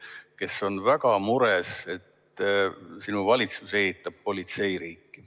Inimesed on väga mures, et sinu valitsus ehitab politseiriiki.